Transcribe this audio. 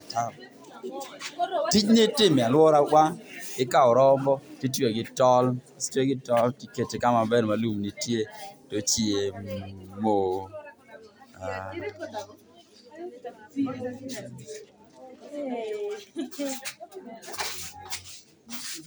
Tijni itimo e aluora wa, ikao rombi titweyo gi tol, kosetwe gi tol tikete kama ber ma lum nitie to ochiemo.